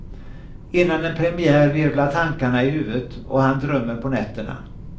Innan en premiär virvlar tankarna i huvudet och han drömmer på nätterna.